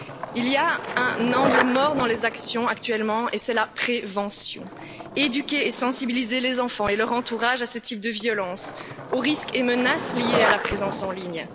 Il y a un angle mort dans les actions actuellement et c'est la prévention éduquer et sensibiliser les enfants et leur entourage à ce type de violence, aux risques et menaces liés à la présence en ligne